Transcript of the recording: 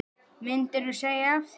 Myndirðu segja af þér?